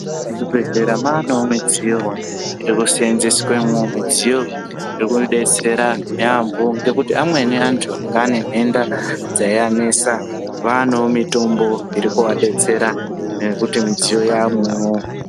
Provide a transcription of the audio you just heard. Muzvibhedhlera maanewo midziyo yekuseenzeswemwo, midziyo yekudetsera yaambo ngekuti amweni antu anga ane nhenda dzaianesa, vaanewo mitombo iri kuadetsera nekuti midziyo yaamwowo.